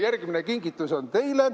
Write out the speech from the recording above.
Järgmine kingitus on teile.